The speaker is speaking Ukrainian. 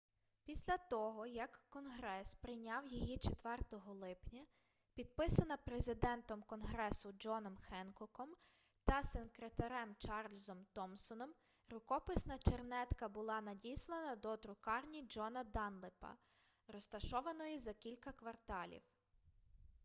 після того як конгрес прийняв її 4 липня підписана президентом конгресу джоном хенкоком та секретарем чарльзом томсоном рукописна чернетка була надіслана до друкарні джона данлепа розташованої за кілька кварталів